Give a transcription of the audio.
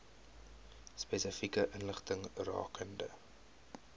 spesifieke inligting rakende